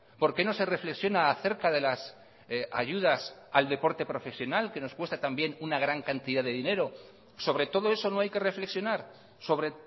por qué no se reflexiona acerca de las ayudas al deporte profesional que nos cuesta también una gran cantidad de dinero sobre todo eso no hay que reflexionar sobre